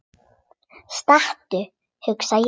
Stattu, hugsa ég.